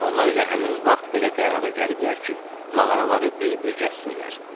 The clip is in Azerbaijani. Onlar elə həmin vaxt belə qərara gəliblər ki, mağaraları bir-bir gəzsinlər.